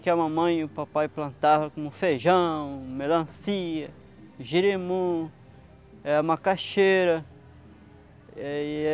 que a mamãe e o papai plantava como feijão, melancia, jirimu, eh macaxeira. Eh